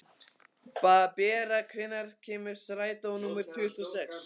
Bera, hvenær kemur strætó númer tuttugu og sex?